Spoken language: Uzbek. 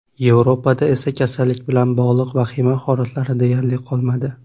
Yevropada esa kasallik bilan bog‘liq vahima holatlari deyarli qolmadi.